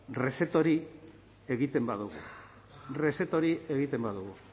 reset hori egiten badogu reset hori egiten badugu